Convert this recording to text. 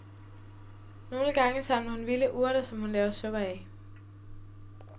Nogle gange samler hun vilde urter, som hun laver suppe af.